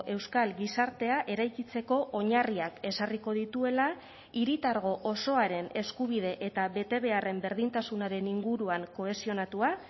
euskal gizartea eraikitzeko oinarriak ezarriko dituela hiritargo osoaren eskubide eta betebeharren berdintasunaren inguruan kohesionatua